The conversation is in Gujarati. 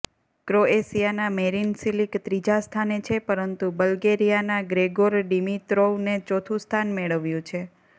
ક્રોએશિયાના મેરિન સિલિક ત્રીજા સ્થાને છે પરંતુ બલ્ગેરીયાના ગ્રેગોર ડિમિત્રોવને ચોથું સ્થાન મેળવ્યું છે